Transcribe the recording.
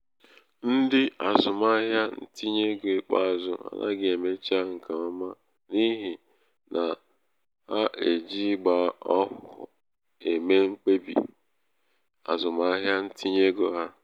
ndị azụmahịa ntinye ego ikpeazụ anaghị emecha nke ọma n' ihi h na-eji ìgba ọhụhụ eme mkpebi azụmahịa ntinye ego ha.